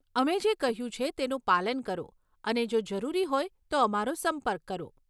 અમે જે કહ્યું છે તેનું પાલન કરો અને જો જરૂરી હોય તો અમારો સંપર્ક કરો.